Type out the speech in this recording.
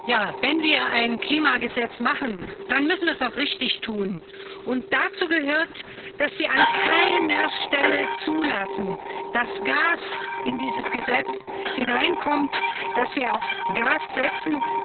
Frau Präsidentin! Ja, wenn wir ein Klimagesetz machen, dann müssen wir das auch richtig tun. Dazu gehört, dass wir an keiner Stelle zulassen, dass Gas in dieses Gesetz hineinkommt, dass wir auf Gas setzen.